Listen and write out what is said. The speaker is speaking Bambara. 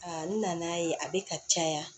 A na n'a ye a bɛ ka caya